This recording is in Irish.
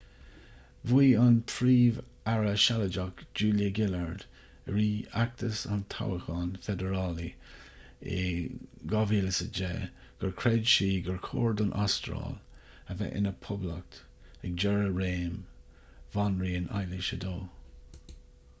mhaígh an príomh-aire sealadach julia gillard i rith fheachtas an toghcháin feidearálaigh in 2010 gur chreid sí gur chóir don astráil a bheith ina poblacht ag deireadh réim bhanríon éilis ii